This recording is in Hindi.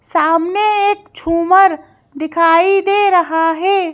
सामने एक छूमर दिखाई दे रहा है।